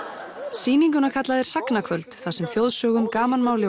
sýninguna kalla þeir þar sem þjóðsögum gamanmáli